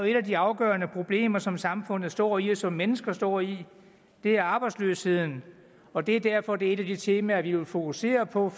et af de afgørende problemer som samfundet står i og som mennesker står i er arbejdsløsheden og det er derfor at det er et af de temaer vi vil fokusere på